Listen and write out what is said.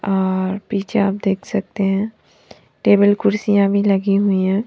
और पीछे आप देख सकते है टेबल खुर्चिया भी लगी हुयी है।